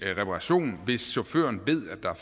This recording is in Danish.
reparation hvis chaufføren ved at der